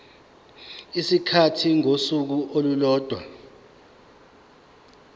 isikhathi sosuku olulodwa